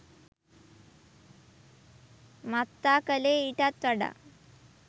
මත්තා කළේ ඊටත් වඩා